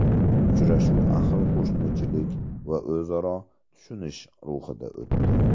Uchrashuv ahil qo‘shnichilik va o‘zaro tushunish ruhida o‘tdi.